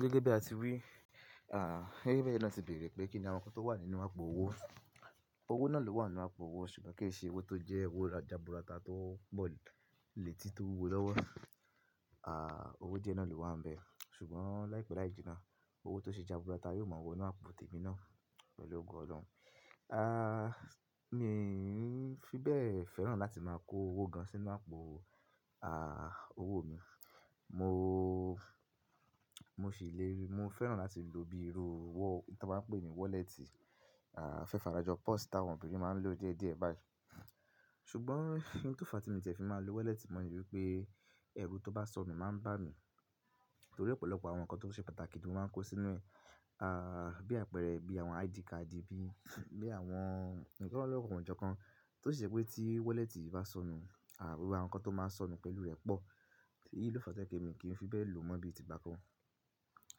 Gẹ́gẹ́ bí a ti wí, à, gẹ́gẹ́ bí ẹ́yin na tí ti bèèrè pé kí ni àwọn nǹkan tó wà nínú àpò owó. Owó náà lè wà nínú àpò owó ṣùgbọ́n kì í ṣe owó tó jẹ́ owó jaburata tó pọ́ ìletí tó wúwo lọ́wọ́. À, owó díẹ̀ náà ló wà níbẹ̀ ṣùgbọ́n láìpẹ́ liá jìnnà owó tó ṣe jaburata yóò mọ̀ ọ́n wọ inú àpò tèmi náà pẹ̀lú ògo Ọlọ́run. À, mi n fi bẹ́ẹ̀ fẹ́ràn láti máa kó owó gan sínú àpò, à, owó mi. Mò, mo sì lè rí, mo fẹ́ràn láti lò bí irú owó tí wọ́n máa ń pè ní wọ́lẹ̀tì, à, ofẹ́fàrájọ purse tí àwọn obìnrin máa ń lò díẹ̀ díẹ̀ báyìí. Ṣùgbọ́n ohun tó fa tí mo tiẹ̀ fi máa lo wọ́lẹ̀tì mo ni wípé ẹrù tó bá sọnù máa ń bá mi nítorí ọ̀pọ̀lọpọ̀ àwọn nǹkan tó ṣe pàtàkì ni mo máa ń kó sínú ẹ̀. À, bí àpẹẹrẹ bí àwọn ID card bí, bí àwọn ọ̀pọ̀lọpọ̀ àwọn nǹjẹ́ kan tó ṣe pé tí wọ́lẹ̀tì bá sọnù, à, àwọn nǹkan tó máa ń sọnù pẹ̀lú rẹ̀ pọ̀. Èyí ló fa tí ẹ̀mi kì í fi bẹ́ẹ̀ lò mọ́ bí i tìgbà kan.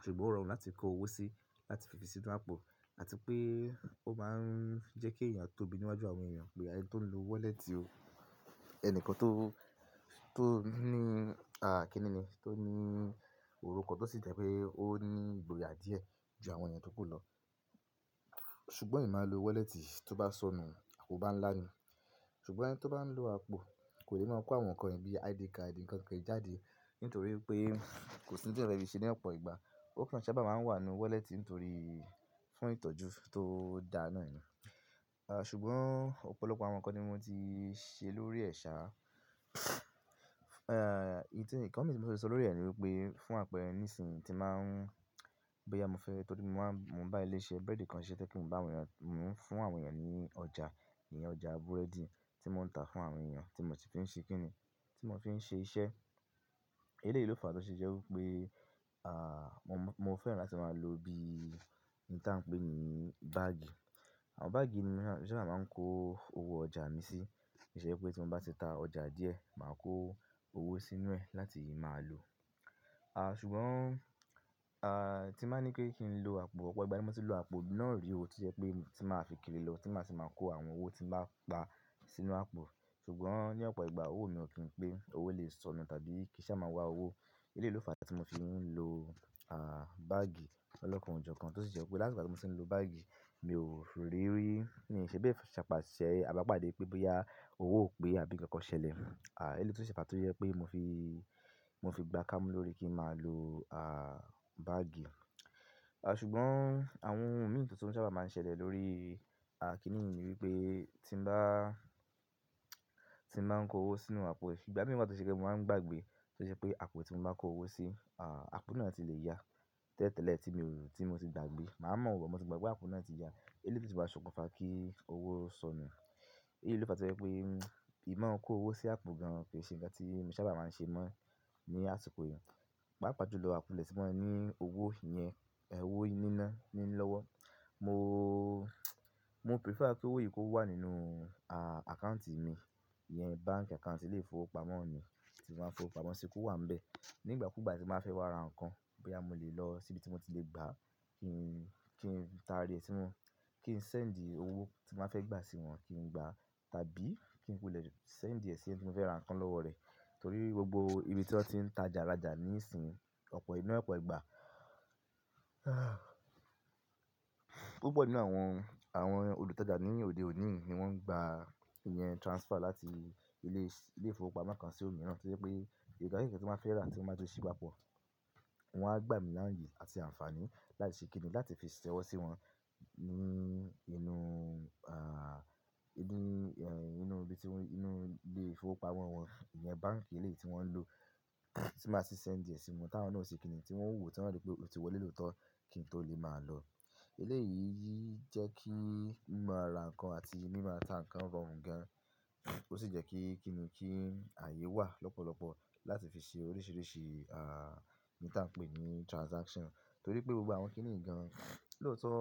Ṣùgbọ́n ó rọrùn láti kó owó sí, láti fi sí inú àpò àti pé ó máa ń jẹ́ kí èèyàn tó bi níwájú àwọn èèyàn pé àyè tó ń lo wọ́lẹ̀tì o. Ẹni kan tó, tó ní, à, kí nìní, tó ní orúkọ kan tó sì jẹ́ pé ó ní ìgboyà díẹ̀ ju àwọn èèyàn tó kù lọ. Ṣùgbọ́n èmi máa ń lo wọ́lẹ̀tì tí ó bá sọnù, kò bá ń ńlá ni. Ṣùgbọ́n ẹni tí ó bá ń lo àpò kò lè máa kó àwọn nǹkan ìbí ID card nǹkan kan kí í jáde nítorí pé kò sí ohun tí èyán fẹ́ fi se ní ọ̀pọ̀ ìgbà. Ó kan ń sábà máa ń wà nínú wọ́lẹ̀tì nítorí fún ìtọ́jú tó dáa náà ni. À, ṣùgbọ́n ọ̀pọ̀lọpọ̀ àwọn nǹkan ni mo ti ṣe lórí ẹ̀ ṣá. Ẹ̀, ìdí nǹkan mi tí mo fẹ́ sọ lórí rẹ̀ ni wípé fún àpẹrẹ ní ìsìn tí màá ń, bó yá múfẹ́ torí mo máa ń, mò ń bá ilé iṣẹ́ búrẹ́dì kan ṣe pé kí n bá àwọn èèyàn, mò ń fún àwọn èèyàn ní ọjà, ìyẹn ọjà búrẹ́dì tí mò ń tà fún àwọn èèyàn tí mò ti ń ṣe kín ní, tí mò fi ń ṣe iṣẹ́. Eléyìí ló fàá tó ṣe jẹ́ wípé, à, mò fẹ́ràn láti máa lò bí i nǹkan tí à ń pè ní báàgì. Àwọn báàgì ni mo sábà máa ń kó owó ọjà mi sí. Kì í ṣe pé tí mo bá ti ta ọjà díẹ̀, màá kó owó sínú ẹ̀ láti máa lò. À, ṣùgbọ́n, à, tí màá ní pé n lo àpò, ọ̀pọ̀ ìgbà tí mo ti lo àpò náà rí o tó jẹ́ pé tí màá fi kiri lọ, tí màá ti máa kó àwọn owó tí màá pa sínú àpò. Ṣùgbọ́n ní ọ̀pọ̀ ìgbà owó mi ò kí n pé òwó lè sọnù tàbí kì í sá máa wá owó. Eléyìí ló fàá tí mo fi ń lo, à, báàgì lọ́kàn ọ̀ǹjọ̀ kan tó sì jẹ́ pé látìgbà tí mò ti ń lo báàgì mi ò ríi, ríi, ní ìṣe bẹ́ẹ̀ sapàṣẹ àbí pàdé pẹ́ bí bóyá owó pẹ́ àbí nǹkan kan ṣẹlẹ̀. À, èyí ló ṣe pàtàkì yẹ́ pé mò fi, mò fi gbá kámú lórí kí màá lo, à, báàgì. À, ṣùgbọ́n àwọn ohun mìíràn tó sábà máa ń ṣẹlẹ̀ lórí, à, kí nìyí ni wípé tí n bá, tí mò ń kó owó sínú àpò, ìgbà míwà tọ̀ sì jẹ́ mó máa ń gbàgbé tó ṣe pé àpò tí mò máa ń kó owó sí, à, àpò náà ti lè ya tẹ́lẹ̀tẹ́lẹ̀ tí mò, tí mò ti gbàgbé. Màá mọ̀ ọ́n but, mò gbàgbé àpò náà ti ya. Eléyìí tí ó máa ṣokùnfà kí owó sọnù. Èyí ló fàá tí ó jẹ́ pé ì máa ń kó owó sí àpò gan ke ṣe ǹkan tí mo sábà máa ń ṣe mọ́ ní àsìkò yìí. Pàápàá ju lọ akulẹ̀ tí wọ́n ní owó ìyẹn, ẹ̀ owó níná ní lọ́wọ́. Mò, mò prefer kí owó yìí kó wà nínú, à, àkáùntì mi. Ìyẹn báńkì àkáùntì ilé ìfowópamọ́ mi tí màá ń fowó pamọ́, ṣé kó wà níbẹ̀. Ní ìgbà kú ìgbà tí màá fẹ́ wá ra nǹkan bóyá mo le lọ síbi tí mo ti lè gbà kí n, kí n ta rẹ̀ sí wọn, kí n send owó tí mo bá fẹ́ gbà sí wọn kí n gbà tàbí kí n kulẹ̀ send ẹ̀ sí ẹni tí mo fẹ́ ra nǹkan lọ́wọ́ rẹ̀. Nítorí gbogbo ibi tí wọn ti ń tajàrájà ní ìsìn ọ̀pọ̀ inú ọ̀pọ̀ ìgbà, púpọ̀ nínú àwọn, àwọn olùtajà ní òde òní ni wọ́n ń gba ìyẹn transfer láti ilé ìsì, ilé ìfowópamọ́ kan sí òmíràn tó jẹ́ pé nkanki kan tí bá fẹ́ rà tí wọn bá tí ṣe gbá pọ̀, wọn á gbà mí láye àti àǹfààní láti ṣe kín ní láti fi ṣẹwọ́ sí wọn ní inú, à, inú, ẹ̀, inú ibi tí wọn, inú ilé ìfowópamọ́ wọn, ìyẹn báńkì ilé tí wọn ń lò tí màá sì send ẹ̀ sí wọn táwọn náà sì kín ní tí wọn wùwọ̀ tán wípé ó ti wọlé lóòótọ́ kí n tó lè máa lọ. Eléyìí jẹ́ kí ìmúra ra nǹkan àti ìmúra ta nǹkan rọrùn gan, ó sì jẹ́ kí kín ní kí ààyè wà lọ́pọ̀lọpọ̀ láti fi ṣe oríṣiríṣi, à, nǹkan tí à ń pè ní transaction nítorí pé gbogbo àwọn kín ní gan lóòótọ́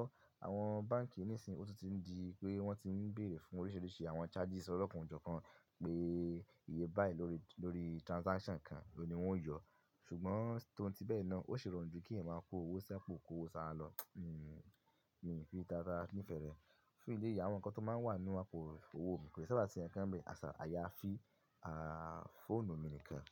àwọn báńkì ní ìsìn ó ti ń di pé wọ́n ti ń bèèrè fún oríṣiríṣi àwọn charges ọlọ́kàn ọ̀ǹjọ̀ kan pé iye báyìí lórí, lórí transaction kan òun ni wọ́n ó yo. Ṣùgbọ́n tòun tí bẹ́ẹ̀ náà ó ṣe rọrùn ju kí èèyàn máa kó owó sí àpò kó owó sára lọ, nǹ, mi nfi taratara ní ìfẹ́ rẹ̀. Fún ilé ìyà àwọn nǹkan tó máa ń wà nínú àpò owó mi kò sì sábà ṣe ǹkan bẹ́ẹ̀ àṣà àyàfi, à, fóònù mi nìkan.